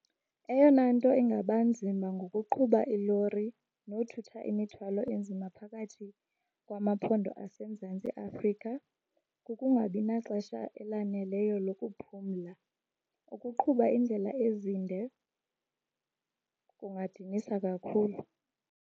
Eyona nto ingaba nzima ngokuqhuba ilori nothutha imithwalo enzima phakathi kwamaphondo aseMzantsi Afrika kukungabi naxesha elaneleyo lokuphumla, ukuqhuba iindlela ezinde kungadinisa kakhulu.